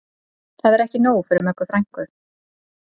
Það er ekki nóg fyrir Möggu frænku